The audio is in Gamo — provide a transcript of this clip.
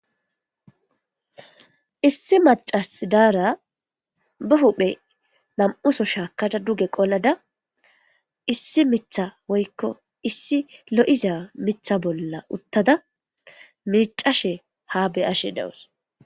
issi macasi daara ba huphe nam'uso shaakada duge qolada issi mitha woykko issi lo'iza mitha bolla uttada micashe haa be'ashe dawus.